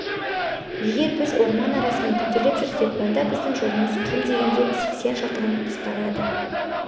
егер біз орман арасымен төтелеп жүрсек онда біздің жолымыз кем дегенде сексен шақырым қысқарады